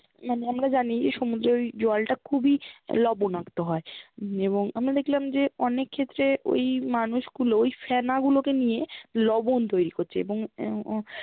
মানে আমরা জানি সমুদ্রের ওই জলটা খুবই লবণাক্ত হয়ে এবং আমরা দেখলাম যে অনেক ক্ষেত্রে ওই মানুষগুলো ওই ফেনাগুলোকে নিয়ে লব্ণ তৈরি করছে এবং আহ